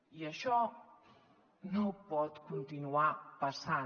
i això no pot continuar passant